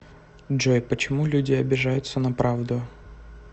джой почему люди обижаются на правду